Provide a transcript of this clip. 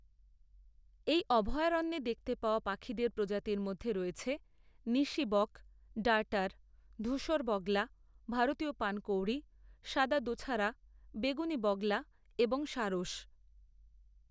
এই অভয়ারণ্যে দেখতে পাওয়া পাখিদের প্রজাতির মধ্যে রয়েছে নিশি বক, ডার্টার, ধূসর বগলা, ভারতীয় পানকৌড়ি, সাদা দোছারা, বেগুনি বগলা এবং সারস।